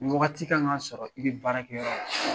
Ni waagati ka kan ka sɔrɔ i bɛ baarakɛyɔrɔ la.